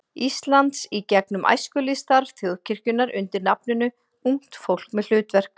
Íslands í gegnum æskulýðsstarf þjóðkirkjunnar undir nafninu Ungt fólk með hlutverk.